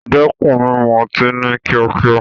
Dẹ́kun mímu ọtí ní kíákíá.